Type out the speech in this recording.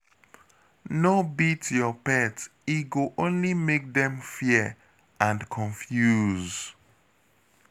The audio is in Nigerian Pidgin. No beat your pet, e go only make dem fear and confuse.